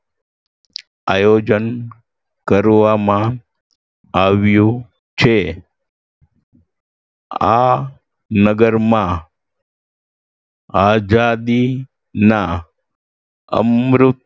આયોજન કરવામાં આવ્યુ છે આ નગરમાં આઝાદીના અમૃત